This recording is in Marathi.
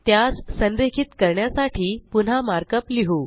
त्यास संरेखित करण्यासाठी पुन्हा मार्कअप लिहु